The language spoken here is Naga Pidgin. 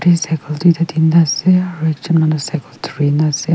Cycle doita tinta ase aro ekjun manu cycle dhuri na ase.